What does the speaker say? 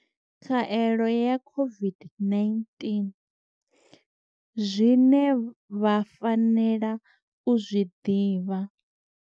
Khaelo ya COVID-19. Zwine vha fanela u zwi ḓivha.